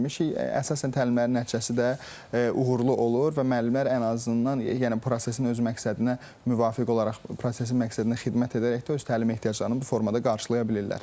Əsasən təlimlərin nəticəsi də uğurlu olur və müəllimlər ən azından yəni prosesin öz məqsədinə müvafiq olaraq prosesin məqsədinə xidmət edərək də öz təlim ehtiyaclarını bu formada qarşılaya bilirlər.